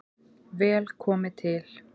Vel komi til